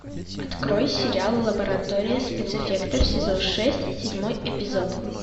открой сериал лаборатория спецэффектов сезон шесть седьмой эпизод